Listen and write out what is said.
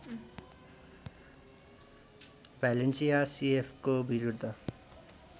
Valencia सीएफको बिरूद्ध